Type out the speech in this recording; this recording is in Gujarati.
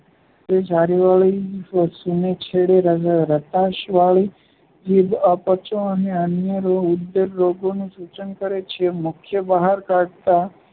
છારીવાળી સૂને છેડે રતાશવાળી જીભ અપચો અને અન્ય ઉદરરોગનું સૂચન કરે છે. મુખ બહાર કાઢતાં